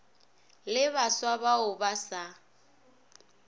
le baswa bao ba sa